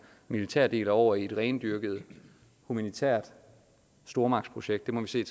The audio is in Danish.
militære del og over i et rendyrket humanitært stormagtsprojekt må vi se